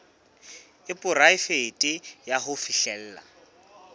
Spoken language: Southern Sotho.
e poraefete ya ho fihlella